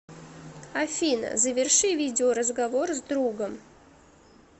афина заверши видео разговор с другом